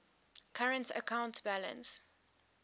current account balance